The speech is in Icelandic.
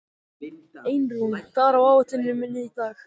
Einrún, hvað er á áætluninni minni í dag?